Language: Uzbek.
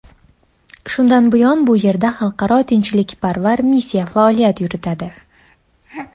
Shundan buyon bu yerda xalqaro tinchlikparvar missiya faoliyat yuritadi.